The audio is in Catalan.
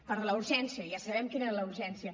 per a la urgència ja sabem quina era la urgència